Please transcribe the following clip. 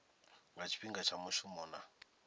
nga tshifhinga tsha mushumo na